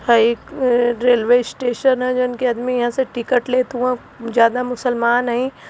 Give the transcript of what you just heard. हई एक railway station ह जवन की अदमी यहाँ से टिकट लेत हउवन जादा मुस्लमान हईं --